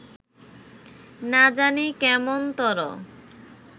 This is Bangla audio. না জানি কেমনতর